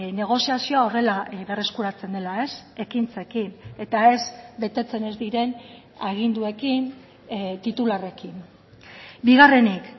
negoziazioa horrela berreskuratzen dela ekintzekin eta ez betetzen ez diren aginduekin titularrekin bigarrenik